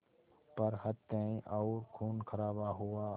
पर हत्याएं और ख़ूनख़राबा हुआ